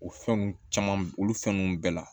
O fɛn nunnu caman olu fɛn nunnu bɛɛ la